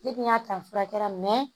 Ne dun y'a ta fura kɛra